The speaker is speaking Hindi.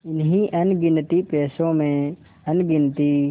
इन्हीं अनगिनती पैसों में अनगिनती